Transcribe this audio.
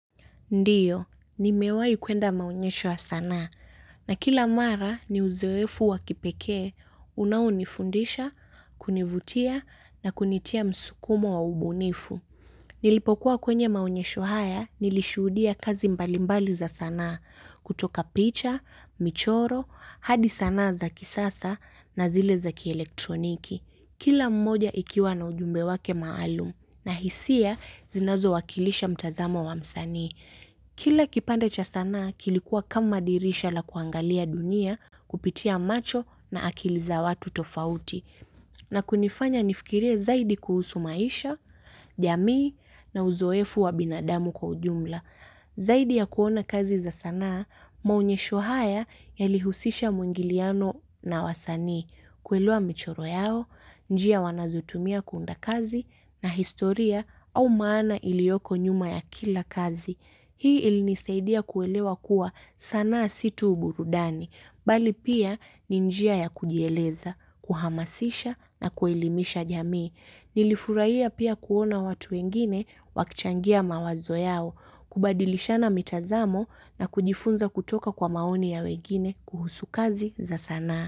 Ndiyo, nimewai kuenda maonyesho wa sanaa, na kila mara ni uzoefu wa kipekee, unaunifundisha, kunivutia, na kunitia msukumo wa ubunifu. Nilipokuwa kwenye maunyesho haya, nilishudia kazi mbalimbali za sana, kutoka picha, michoro, hadi sana za kisasa, na zile za kielektroniki. Kila moja ikiwa na ujumbe wake maalum na hisia zinazo wakilisha mtazamo wa msanii. Kila kipanda cha sanaa kilikuwa kama dirisha la kuangalia dunia kupitia macho na akili za watu tofauti. Na kunifanya nifikirie zaidi kuhusu maisha, jamii na uzoefu wa binadamu kwa ujumla. Zaidi ya kuona kazi za sanaa, maonyesho haya yalihusisha mwingiliano na wasani. Kuelewa michoro yao, njia wanazotumia kuunda kazi na historia au maana ilioko nyuma ya kila kazi. Hii ilinisaidia kuelewa kuwa sanaa si tu uburudani. Bali pia ni njia ya kujieleza, kuhamasisha na kuelimisha jamii. Nilifuraihia pia kuona watu wengine wakichangia mawazo yao, kubadilishana mitazamo na kujifunza kutoka kwa maoni ya wengine kuhusu kazi za sanaa.